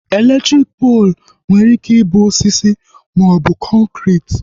Elektriki poolu nwere ike ịbụ osisi maọbụ kọnkriti